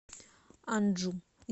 анджу